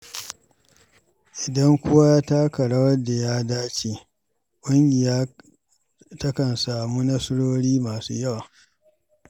Idan kowa ya taka rawar da ta dace, ƙungiya takan samu nasarori masu yawa.